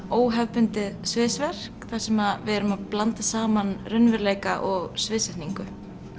óhefðbundið þar sem við erum að blanda saman raunveruleika og sviðsetningu